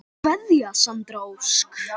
Kveðja Sandra Ósk.